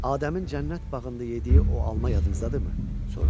Adəmin cənnət bağında yediyi o alma yadınızdadırmı?